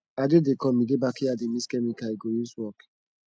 ade dey come he dey backyard dey mix chemical he go use work